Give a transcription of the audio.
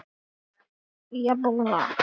Það er óvænt.